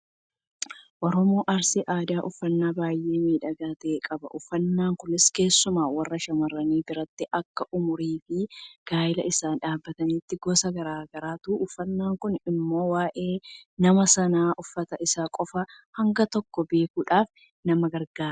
Oromoon arsii aadaa uffannaa baay'ee miidhagaa ta'e qaba. Uffannaan kunis keessumaa warra shamarranii biratti akka umuriifi gaayila isaan dhaabbataniitti gosa garaa garaatu uffatama. Kun immoo waa'ee nama sanaa uffata isaa qofaan hanga tokko beekuudhaaf nama gargaara.